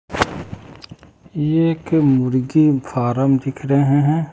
एक मुर्गी फारम दिख रहे हैं।